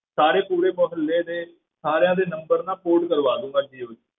ਸਾਰੇ ਪੂਰੇ ਮੁਹੱਲੇ ਦੇ ਸਾਰਿਆਂ ਦੇ number ਨਾ port ਕਰਵਾ ਲਵਾਂਗਾ ਜੀਓ ਵਿੱਚ।